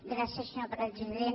gràcies senyor president